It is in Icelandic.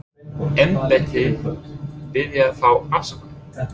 Hyggst embættið biðja þá afsökunar?